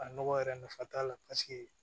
A nɔgɔ yɛrɛ nafa t'a la paseke